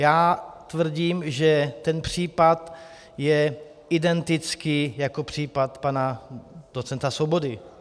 Já tvrdím, že ten případ je identický jako případ pana docenta Svobody.